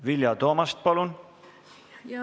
Vilja Toomast, palun!